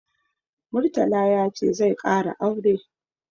Murtala ya ce zai ƙara aure.